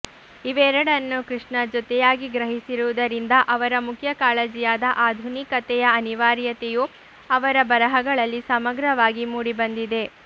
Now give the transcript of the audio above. ಇವೆರಡನ್ನೂ ಕೃಷ್ಣ ಜೊತೆಯಾಗಿ ಗ್ರಹಿಸಿರುವುದರಿಂದ ಅವರ ಮುಖ್ಯ ಕಾಳಜಿಯಾದ ಆಧುನಿಕತೆಯ ಅನಿವಾರ್ಯತೆಯು ಅವರ ಬರಹಗಳಲ್ಲಿ ಸಮಗ್ರವಾಗಿ ಮೂಡಿಬಂದಿದೆ